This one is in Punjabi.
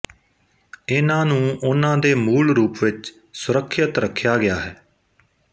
ਇਨ੍ਹਾਂ ਨੂੰ ਉਨ੍ਹਾਂ ਦੇ ਮੂਲ ਰੂਪ ਵਿੱਚ ਸੁਰੱਖਿਅਤ ਰੱਖਿਆ ਗਿਆ ਹੈ